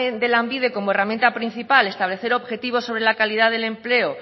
de lanbide como herramienta principal establecer objetivos sobre la calidad del empleo